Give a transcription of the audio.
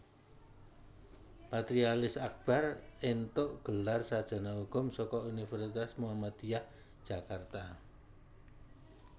Patrialis Akbar entuk gelar sarjana hukum saka Universitas Muhammadiyah Jakarta